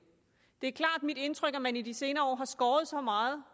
det er klart mit indtryk at man i de senere år har skåret så meget